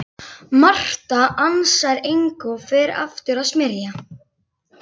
Marta ansar engu og fer aftur að smyrja.